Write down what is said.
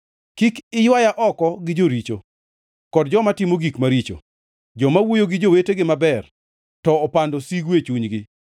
Kik iywaya oko gi joricho, kod joma timo gik maricho, joma wuoyo gi jowetegi maber to opando sigu e chunygi.